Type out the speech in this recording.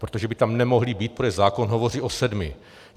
Protože by tam nemohli být, protože zákon hovoří o sedmi.